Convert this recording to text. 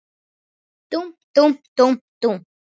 Dúmp, dúmp, dúmp, dúmp.